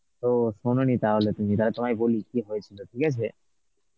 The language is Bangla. ও শোনোনি তাহলে তুমি, তালে তোমায় বলি কি হয়েছিল, ঠিক আছে?